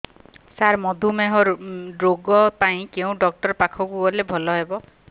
ସାର ମଧୁମେହ ରୋଗ ପାଇଁ କେଉଁ ଡକ୍ଟର ପାଖକୁ ଗଲେ ଭଲ ହେବ